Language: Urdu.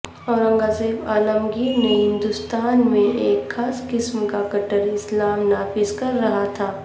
اورنگزیب عالمگیر نے ہندوستان میں ایک خاص قسم کا کٹر اسلام نافذ کر رکھا تھا